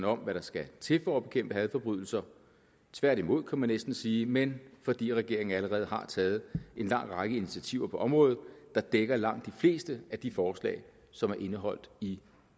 om hvad der skal til for at bekæmpe hadforbrydelser tværtimod kan man næsten sige men fordi regeringen allerede har taget en lang række initiativer på området der dækker langt de fleste af de forslag som er indeholdt i